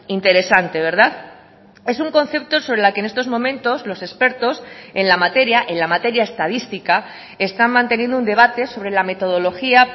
interesante verdad es un concepto sobre la que en estos momentos los expertos en la materia en la materia estadística están manteniendo un debate sobre la metodología